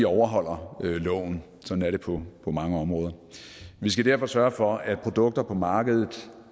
overholder loven sådan er det på mange områder og vi skal derfor sørge for at produkter på markedet